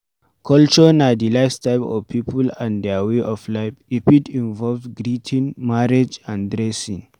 Culture na di lifestyle of people and their way of life e fit involve greeting, marriage and dressing